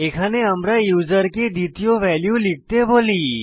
এখানে আমরা ইউসারকে দ্বিতীয় ভ্যালু লিখতে বলি